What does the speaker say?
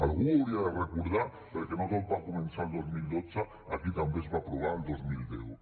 algú ho hauria de recordar perquè no tot va començar el dos mil dotze aquí també es va aprovar el dos mil deu